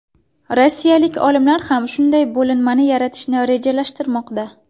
Rossiyalik olimlar ham shunday bo‘linmani yaratishni rejalashtirmoqda.